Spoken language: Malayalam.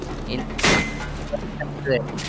ഇൽ~ ആഹ് ഒര~